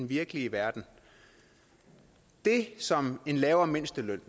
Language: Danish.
virkelige verden det som en lavere mindsteløn